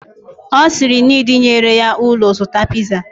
Osiri nid nyere ya olu zuta pizza